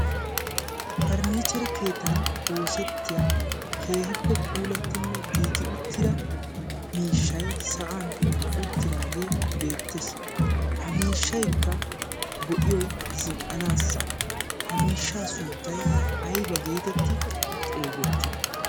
parnniichere keetan oosettiya keehippe puulattinne giigi uttira miishshai sa'an uttiraagee beettees ha miishshaikka go''iyoi zin''anaassa ha miishsha sunttay ayba geetetti xeegettii